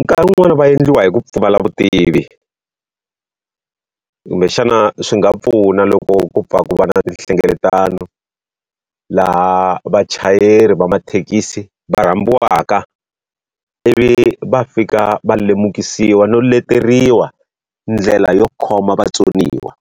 Nkarhi wun'wani va endliwa hi ku pfumala vutivi, kumbexana swi nga pfuna loko ku pfuna ku va na tinhlengeletano. Laha vachayeri va mathekisi va rhambiwaka ivi va fika va lemukisiwa no leteriwa ndlela yo khoma vatsoniwa,